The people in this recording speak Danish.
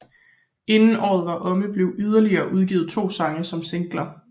Inden året var omme blev yderligere udgivet to sange som singler